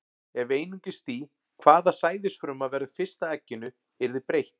Ef einungis því, hvaða sæðisfruma verður fyrst að egginu, yrði breytt.